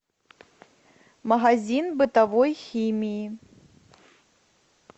магазин бытовой химии